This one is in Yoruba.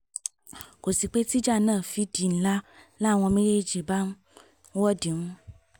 kò sí pé tíjà náà fi di ńlá làwọn méjèèjì bá ń wọ̀dìmù